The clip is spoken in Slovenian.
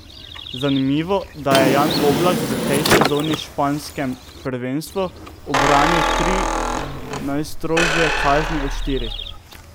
Zanimivo, da je Jan Oblak v tej sezoni v španskem prvenstvu ubranil tri najstrožje kazni od štirih.